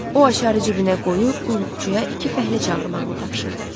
O açarı cibinə qoyub qulluqçuya iki fəhlə çağırmağını tapşırdı.